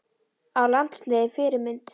Á landsliðið Fyrirmynd?